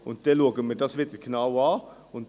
Und dann schauen wir uns dies wieder genau an.